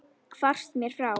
Hvarfst mér frá.